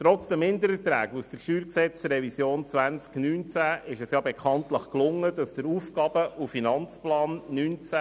Trotz der Mindererträge aus der StG-Revision 2019 konnte dafür gesorgt werden, dass der Aufgaben- und Finanzplan (AFP)